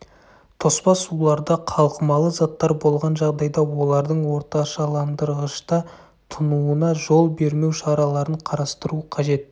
тоспа суларда қалқымалы заттар болған жағдайда олардың орташаландырғышта тұнуына жол бермеу шараларын қарастыру қажет